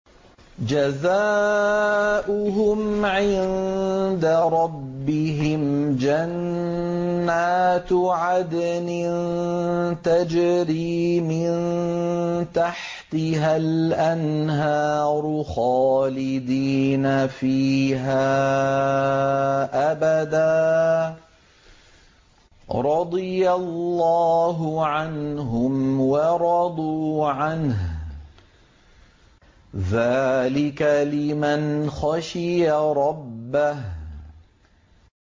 جَزَاؤُهُمْ عِندَ رَبِّهِمْ جَنَّاتُ عَدْنٍ تَجْرِي مِن تَحْتِهَا الْأَنْهَارُ خَالِدِينَ فِيهَا أَبَدًا ۖ رَّضِيَ اللَّهُ عَنْهُمْ وَرَضُوا عَنْهُ ۚ ذَٰلِكَ لِمَنْ خَشِيَ رَبَّهُ